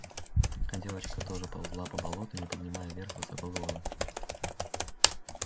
а девочка тоже ползла по болоту не поднимая вверх высоко головы